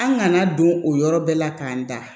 An kana don o yɔrɔ bɛɛ la k'an da